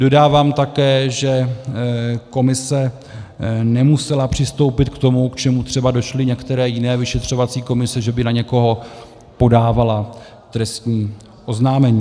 Dodávám také, že komise nemusela přistoupit k tomu, k čemu třeba došly některé jiné vyšetřovací komise, že by na někoho podávala trestní oznámení.